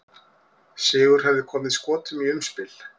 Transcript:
Sigur hefði komið Skotum í umspil.